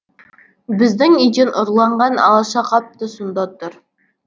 біздің үйден ұрланған алаша қап та сонда тұр